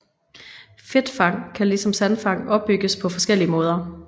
Fedtfang kan ligesom sandfang opbygges på forskellige måder